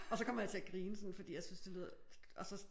Og så kommer jeg til at grine sådan fordi jeg synes det lyder og så